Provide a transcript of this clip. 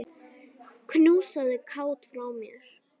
Knúsaðu Kát frá mér.